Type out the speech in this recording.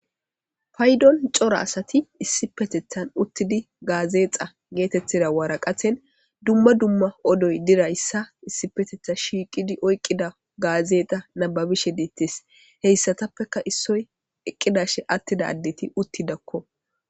Paydon cora asati issipetethan uttidi gaazeexa geetettida waraqaten dumma dumma odoy dizayssa issi petetha shiiqidi oyqqida gaazeexa nababishe deettes heyssatappeka issoy eqqidashe attida addeti uttidakko.